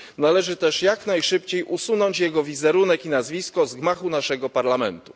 Należy też jak najszybciej usunąć jego wizerunek i nazwisko z gmachu Parlamentu.